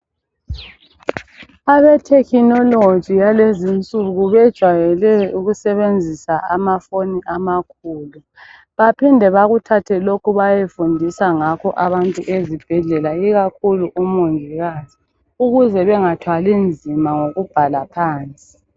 Abetechnology yalezi insuku bejwayele ukusebenzisa amafoni amakhulu. Baphinde bakuthathe lokhu, bayefundisa ngakho esibhedlela. Ikakhulu, omongikazi. Ukuze bangathwali nzima, ngokubhala phansi.